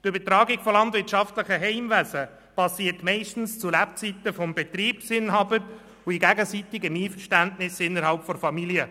Die Übertragung landwirtschaftlicher Heimwesen geschieht meist zu Lebzeiten des Betriebsinhabers und in gegenseitigem Einverständnis innerhalb der Familie.